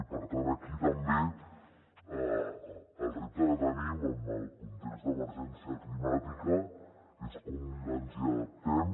i per tant aquí també el repte que tenim en el context d’emergència climàtica és com ens hi adaptem